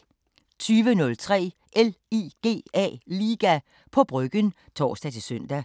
20:03: LIGA på Bryggen (tor-søn)